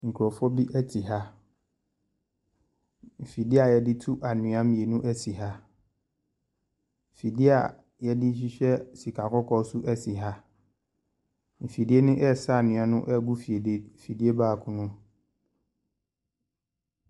Nkrɔfoɔ bi te ha. Mfidie a yɛde tu anhwea mmienu si ha. Fidie a yɛde hwehwɛ sika kɔkɔɔ nso si ha. Fidie no resa anwea gu fidie baako mu.